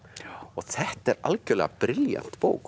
þetta er algjörlega brilljant bók